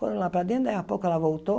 Foram lá para dentro, daí a pouco ela voltou,